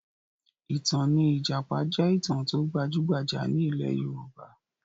Ìtàn ní ìjàpá jẹ́ ìtàn tó gbajúgbajà ní ilẹ̀ Yorùbá